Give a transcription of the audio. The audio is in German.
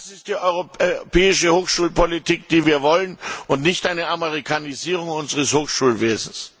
Das ist die europäische Hochschulpolitik, die wir wollen, und nicht eine Amerikanisierung unseres Hochschulwesens.